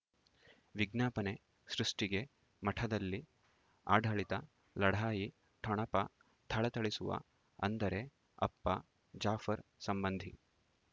ವಿಜ್ಞಾಪನೆ ಸೃಷ್ಟಿಗೆ ಮಠದಲ್ಲಿ ಆಡಳಿತ ಲಢಾಯಿ ಠೊಣಪ ಥಳಥಳಿಸುವ ಅಂದರೆ ಅಪ್ಪ ಜಾಫರ್ ಸಂಬಂಧಿ